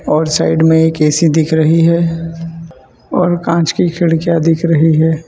और साइड मे एक ए_सी दिख रही है और कांच की खिड़कियां दिख रही है।